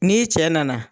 N'i cɛ nana